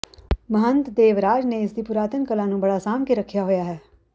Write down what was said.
ਮਹੰਤ ਦੇਵਰਾਜ ਨੇ ਇਸ ਦੀ ਪੁਰਾਤਨ ਕਲਾ ਨੂੰ ਬੜਾ ਸਾਂਭ ਕੇ ਰੱਖਿਆ ਹੋਇਆ ਹੈ